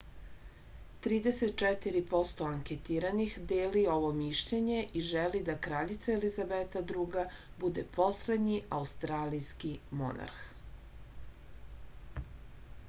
trideset četiri posto anketiranih deli ovo mišljenje i želi da kraljica elizabeta ii bude poslednji australijski monarh